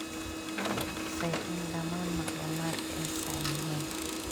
Ma hubisay in dhammaan macluumaadka ay sax yihiin?